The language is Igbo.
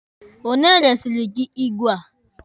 Onye resiri gị igwe a?